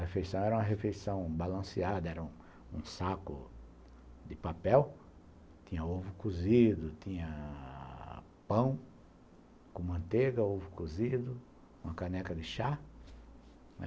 A refeição era uma refeição balanceada, era um saco de papel, tinha ovo cozido, tinha pão com manteiga, ovo cozido, uma caneca de chá.